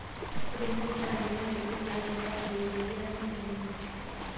Ore irkurt naakenya ndaikin nagiraa ang'uoyu peyie eeaku empuliya.